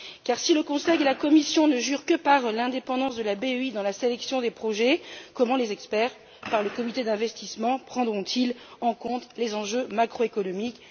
Car, si le Conseil et la Commission ne jurent que par l'indépendance de la BEI dans la sélection des projets, comment les experts, au sein du comité d'investissement, prendront ils en compte les enjeux macroéconomiques?